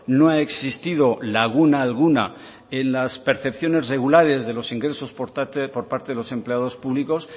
no ha existido laguna alguna en las percepciones regulares de los ingresos por parte de los empleados públicos